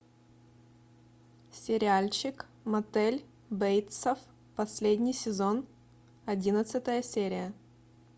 сериальчик мотель бейтсов последний сезон одиннадцатая серия